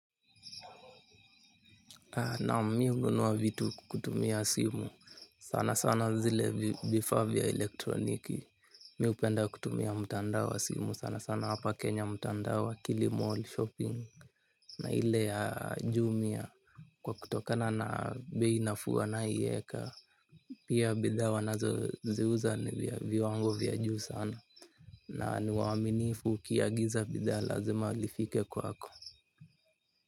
Naam mimi hununua vitu kutumia simu sana sana zile vifaa vya elektroniki. Mimi hupenda kutumia mtandao wa simu sana sana hapa kenya mtandao wa kilimall shopping. Na ile ya jumia kwa kutokana na bei nafuu wanayoieka. Pia bidhaa wanazoziuza ni vya viwango vya juu sana. Na ni waaminifu ukiagiza bidhaa lazima lifike kwako.